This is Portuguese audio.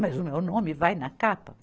Mas o meu nome vai na capa?